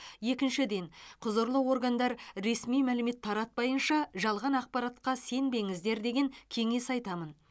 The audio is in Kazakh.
екіншіден құзырлы органдар ресми мәлімет таратпайынша жалған ақпаратқа сенбеңіздер деген кеңес айтамын